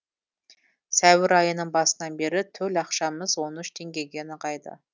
сәуір айының басынан бері төл ақшамыз он үш теңгеге нығайды